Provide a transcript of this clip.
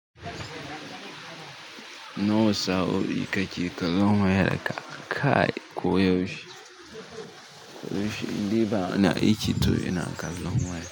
Nawa sa'o'i kake kazo ma wayar ka kai! Ko yaushe to indai bana aiki to ina kallon waya.